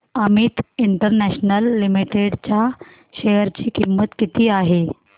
Amit international limited च्या share ची किंमत किती आहे